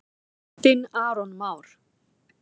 Þinn Aron Már.